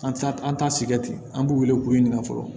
An t'a an t'a sigɛrɛti an b'u wele k'u ɲininka fɔlɔ